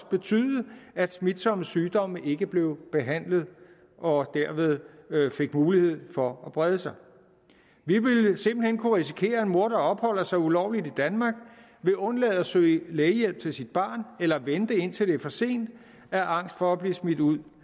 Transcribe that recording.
betyde at smitsomme sygdomme ikke blev behandlet og derved fik mulighed for at brede sig vi vil simpelt hen kunne risikere at en mor der opholder sig ulovligt i danmark vil undlade at søge lægehjælp til sit barn eller vente indtil det er for sent af angst for at blive smidt ud